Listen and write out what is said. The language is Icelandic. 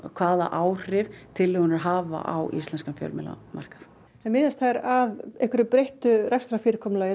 hvaða áhrif tillögurnar hafa á íslenskan fjölmiðlamarkað en miðast þær að einhverju breyttu rekstrarfyrirkomulagi